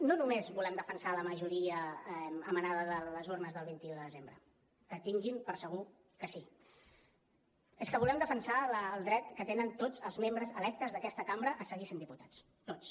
no només volem defensar la majoria emanada de les urnes del vint un de desembre que tinguin per segur que sí és que volem defensar el dret que tenen tots els membres electes d’aquesta cambra a seguir sent diputats tots